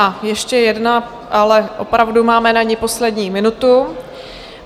A ještě jedna, ale opravdu máme na ni poslední minutu.